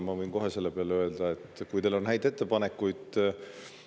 Ma võin selle peale kohe öelda, et kui teil on häid ettepanekuid, [siis öelge need välja.